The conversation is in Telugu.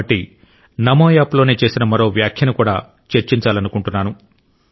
కాబట్టి నమో యాప్లోనే చేసిన మరో వ్యాఖ్యను కూడా చర్చించాలనుకుంటున్నాను